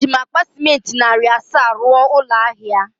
Eji'm akpa ciment rụọ narị narị asaa n’ahịa ahịa